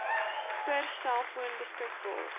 per selfoon beskikbaar